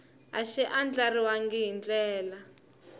a xi andlariwangi hi ndlela